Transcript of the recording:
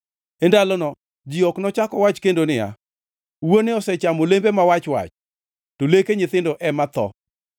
“E ndalono ji ok nochak owach kendo niya, “ ‘Wuone osechamo olembe ma wach-wach, to leke nyithindo ema tho.’